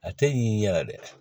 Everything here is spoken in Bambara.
A tɛ ɲin'i yɛrɛ dɛ